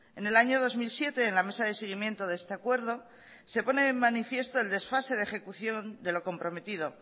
en el año dos mil siete en la mesa de seguimiento de este acuerdo se pone de manifiesto el desfase de ejecución de lo comprometido